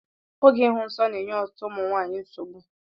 Oge ịhụ nsọ na-enye ọtụtụ ụmụ nwanyị nsogbu.